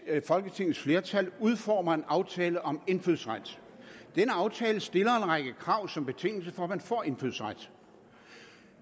at folketingets flertal udformer en aftale om indfødsret denne aftale stiller en række krav som betingelse for at man får indfødsret